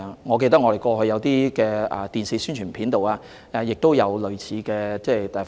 我記得我們過去在電視宣傳片也有使用類似的例子。